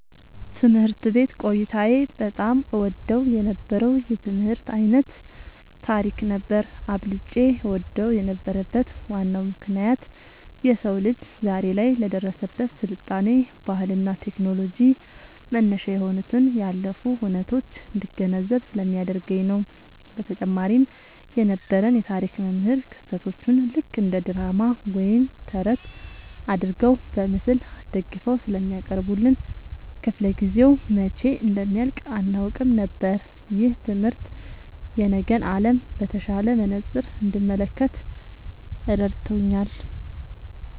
ትምህርት ቤት ቆይታዬ በጣም እወደው የነበረው የትምህርት ዓይነት ታሪክ ነበር። አብልጬ እወደው የነበረበት ዋናው ምክንያት የሰው ልጅ ዛሬ ላይ ለደረሰበት ስልጣኔ፣ ባህልና ቴክኖሎጂ መነሻ የሆኑትን ያለፉ ሁነቶች እንድገነዘብ ስለሚያደርገኝ ነው። በተጨማሪም የነበረን የታሪክ መምህር ክስተቶቹን ልክ እንደ ድራማ ወይም ተረት አድርገው በምስል አስደግፈው ስለሚያቀርቡልን፣ ክፍለ-ጊዜው መቼ እንደሚያልቅ አናውቅም ነበር። ይህ ትምህርት የነገን ዓለም በተሻለ መነጽር እንድመለከት ረድቶኛል።"